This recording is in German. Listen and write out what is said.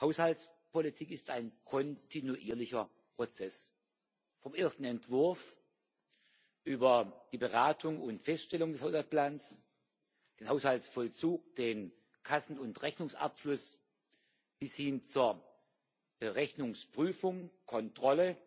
Haushaltspolitik ist ein kontinuierlicher Prozess vom ersten Entwurf, über die Beratung und Feststellung des Haushaltsplans, den Haushaltsvollzug, den Kassen und Rechnungsabschluss bis hin zur Rechnungsprüfung und Kontrolle